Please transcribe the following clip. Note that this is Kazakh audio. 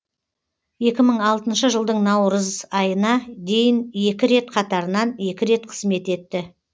екі мың алтыншы жылдың наурыз айына дейін екі рет қатарынан екі рет қызмет етті